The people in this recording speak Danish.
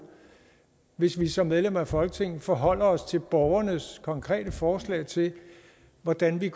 hvis vi som medlemmer af folketinget forholder os til borgernes konkrete forslag til hvordan vi